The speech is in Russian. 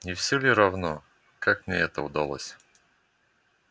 не всё ли равно как мне это удалось